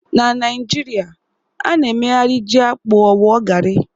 Na Naijiria, a na-emegharị ji-akpu ọ wụọ garri.